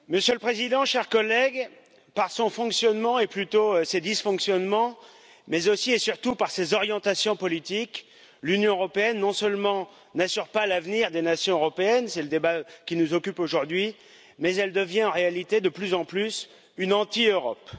Monsieur le Président, chers collègues, par son fonctionnement, ou plutôt ses dysfonctionnements, mais aussi et surtout par ses orientations politiques, l'Union européenne non seulement n'assure pas l'avenir des nations européennes c'est le débat qui nous occupe aujourd'hui mais elle devient en réalité, de plus en plus, une anti Europe.